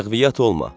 Ləğviyat olma.